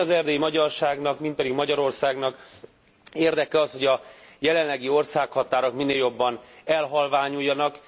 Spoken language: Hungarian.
Hiszen mind az erdélyi magyarságnak, mind pedig Magyarországnak érdeke az, hogy a jelenlegi országhatárok minél jobban elhalványuljanak.